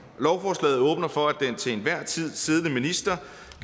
lovforslaget åbner for at den til enhver tid siddende minister